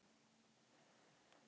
Breyta brautum í þágu framúraksturs